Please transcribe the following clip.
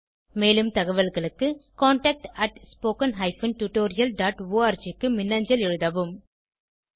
மேலும் தகவல்களுக்கு contactspoken tutorialorg க்கு மின்னஞ்சல் எழுதவும்